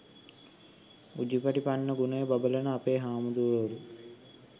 උජුපටිපන්න ගුණයෙන් බබළන අපේ හාමුදුරුවරු